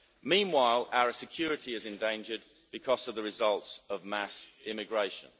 Meanwhile, our security is endangered because of the results of mass immigration.